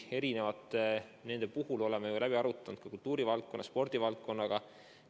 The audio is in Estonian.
Aga me oleme need läbi arutanud ka kultuurivaldkonnaga, spordivaldkonnaga.